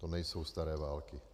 To nejsou staré války.